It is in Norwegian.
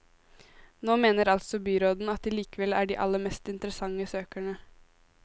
Nå mener altså byråden at de likevel er de aller mest interessante søkerne.